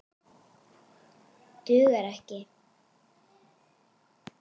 Dugar ekki!